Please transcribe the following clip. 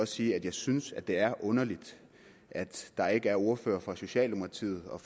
sige at jeg synes det er underligt at der ikke er ordførere for socialdemokratiet og